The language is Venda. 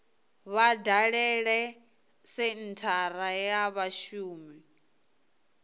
vha dalele senthara ya vhashumi